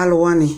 alʋwani